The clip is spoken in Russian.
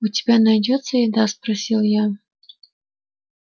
у тебя найдётся еда спросил я